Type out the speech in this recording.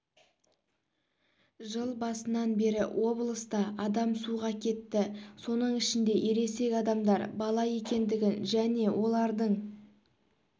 жыл басынан бері облыста адам суға кетті соның ішінде ересек адамдар бала екендігін және олардың